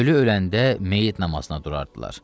Ölü öləndə meyyit namazına durardılar.